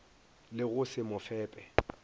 le go se mo fepe